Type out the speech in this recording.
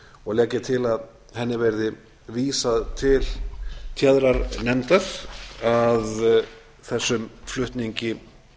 og legg ég til að henni verði vísað til téðrar nefndar að þessum flutningi